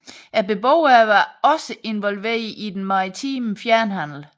Beboerne var også involveret i den maritime fjernhandel